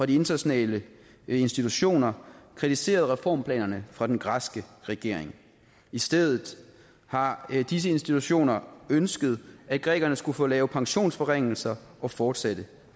de internationale institutioner kritiseret reformplanerne fra den græske regering i stedet har disse institutioner ønsket at grækerne skulle få lavet pensionsforringelser og fortsatte